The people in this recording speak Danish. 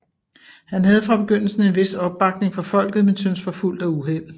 Han havde fra begyndelsen en vis opbakning fra folket men syntes forfulgt af uheld